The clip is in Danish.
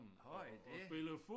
Har I det?